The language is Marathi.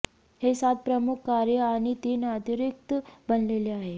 हे सात प्रमुख कार्ये आणि तीन अतिरिक्त बनलेला आहे